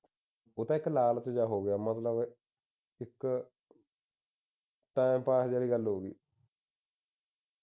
ਉਹਦਾ ਇਕ ਲਾਲ ਪੀਲਾ ਹੋ ਗਿਆ ਮਤਲਬ ਇਕ ਟਾਈਮ ਪਾਸ ਜਿਹੜੀ ਗੱਲ ਹੋ ਗਈ